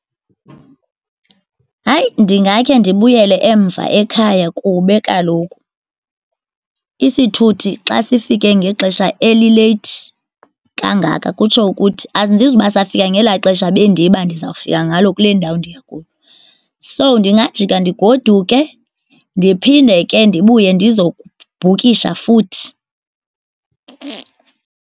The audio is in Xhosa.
Hayi, ndingakhe ndibuyele emva ekhaya kube kaloku isithuthi xa sifike ngexesha elileyithi kangaka kutsho ukuthi andizuba safika ngela xesha bendiba ndizawufika ngalo kule ndawo ndiya kuyo. So, ndingajika ndigoduke, ndiphinde ke ndibuye ndiza kubhukisha futhi.